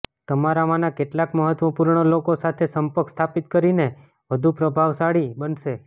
તમારામાંના કેટલાક મહત્વપૂર્ણ લોકો સાથે સંપર્ક સ્થાપિત કરીને વધુ પ્રભાવશાળી બનશે